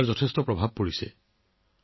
তাত ইয়াৰ যথেষ্ট প্ৰভাৱ পৰিছে